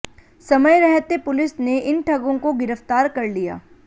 समय रहते पुलिस ने इन ठगों को गिरफ्तार कर लिया